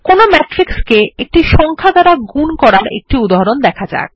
কোনো ম্যাট্রিক্স কে একটি সংখ্যা দ্বারা গুন করার একটি উদাহরণ দেখা যাক